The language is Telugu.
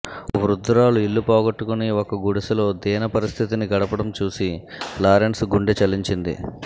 ఒక వృద్ధురాలు ఇల్లు పోగొట్టుకొని ఒక గుడిసెలో దీన పరిస్థితిని గడపడం చూసి లారెన్స్ గుండె చలించింది